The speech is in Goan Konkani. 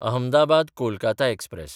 अहमदाबाद–कोलकाता एक्सप्रॅस